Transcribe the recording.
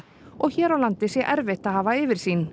og hér á landi sé erfitt að hafa yfirsýn